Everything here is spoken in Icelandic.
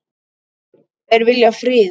Þeir vilja frið.